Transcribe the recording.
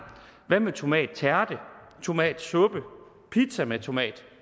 hvad med tomattærte tomatsuppe pizza med tomat